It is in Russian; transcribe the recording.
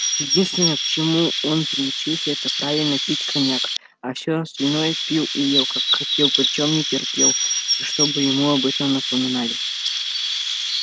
единственное к чему он приучился это правильно пить коньяк а все остальное пил и ел как хотел причём не терпел чтобы ему об этом напоминали